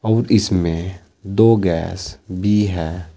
और इसमें दो गैस भी है।